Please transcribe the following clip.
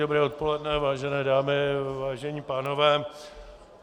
Dobré odpoledne, vážené dámy, vážení pánové.